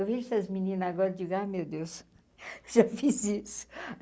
Eu via essas meninas agora, digo, ah meu Deus, já fiz isso.